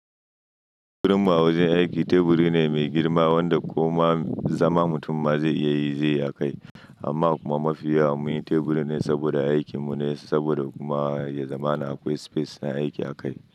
Teburin mu a wajen aiki, teburi ne mai girma wanda koma zama mutum ma zai iya yi zai a kai. Amma kuma mafi yawa muyi teburi ne saboda aikin mu ne, saboda kuma ya zama akwai space na aiki a kai.